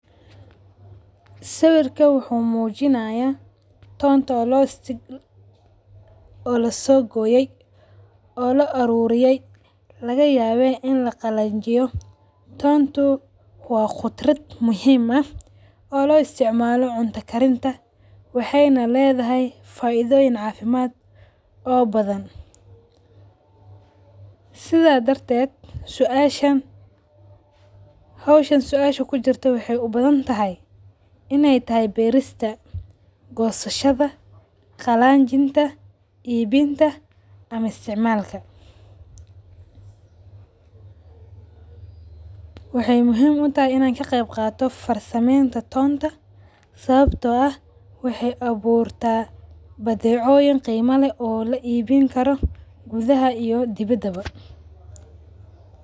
Sawarka wuxu mujinaya tonta o lasogoye oo la arurayay lagayaba in laqalajiyo, tonta wa qudrad muhim ah o lo istacmalo cunta karinta, waxayna ledaha faidoyin sida dartet suasha howshan suasha kujurta waxay ubadantaay inay tahay berista, gosashada, qalajinta, ebinta ama istacmalka waxay muhim utahay inay kaqeyb qadato farsameynta tonta sababto ah waxay aburta badecoyin qeima leh o laibini karo gudah iyo dibadwa.